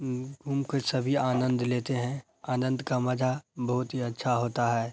उम उनका सभी आनंद लेते हैं आनंद का मजा बहुत ही अच्छा होता है।